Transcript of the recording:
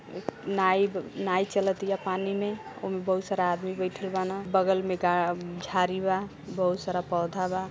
नाईब् नाई चलतीया पानी में ओमे बहुत सारा आदमी बैठल बान बगल में गा-झारी बा। बहुत सारा पौधा बा।